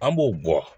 An b'o bɔ